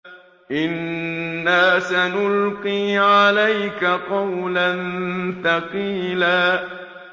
إِنَّا سَنُلْقِي عَلَيْكَ قَوْلًا ثَقِيلًا